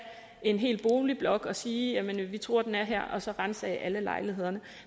en hel boligblok og sige vi tror at den er her og så ransage alle lejlighederne